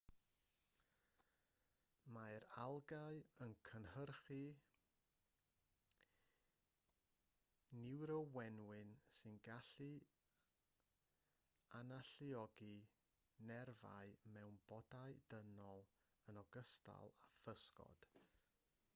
mae'r algâu yn cynhyrchu niwrowenwyn sy'n gallu analluogi nerfau mewn bodau dynol yn ogystal â physgod